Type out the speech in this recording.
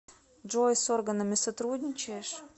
джой с органами сотрудничаешь